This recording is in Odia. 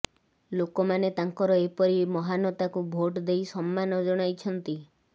ଲୋକମାନେ ତାଙ୍କର ଏପରି ମହାନତାକୁ ଭୋଟ ଦେଇ ସମ୍ମାନ ଜଣାଇଛନ୍ତି